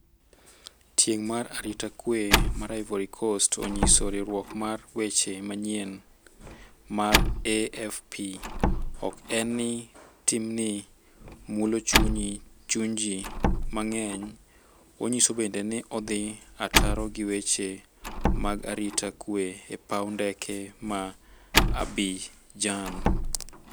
Tieng' mar arita kwe mar Ivory Coast onyiso riwruok mar weche manyien mar AFP: "Ok en ni timni mulo chuny ji mang'eny, onyiso bende ni odhi ataro gi weche mag arita kwe e paw ndeke ma Abidjan."